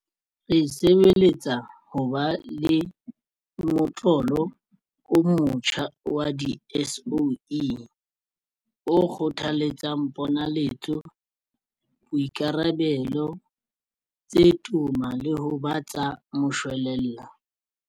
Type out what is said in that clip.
Re sebeletsa ho ba le motlolo o motjha wa di-SOE o kgothaletsang ponaletso, boikarabelo tse toma le ho ba tsa moshwelella.